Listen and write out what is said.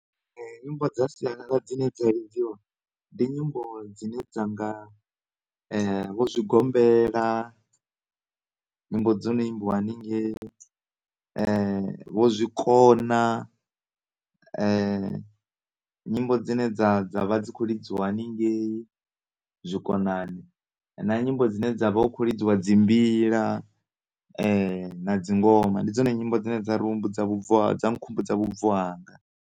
Nyimbo dza sialala dzine dza lidziwa ndi nyimbo dzine dzanga vho zwigombela nyimbo dzono imbiwa haningei vho zwikona nyimbo dzine dzavha dzi kho lidziwa haningei zwikonani na nyimbo dzine dzavha hu kho lidziwa dzimbila na dzingoma ndi dzone nyimbo dzine dza ri humbudza vhubvo, dza nkhumbudza vhubvo hanga.